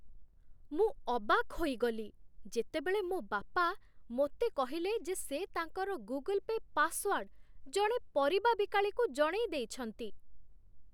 ମୁଁ ଅବାକ୍ ହୋଇଗଲି, ଯେତେବେଳେ ମୋ ବାପା ମୋତେ କହିଲେ ଯେ ସେ ତାଙ୍କର ଗୁଗୁଲ୍ ପେ' ପାସ୍‌ୱାର୍ଡ ଜଣେ ପରିବା ବିକାଳିକୁ ଜଣେଇ ଦେଇଛନ୍ତି।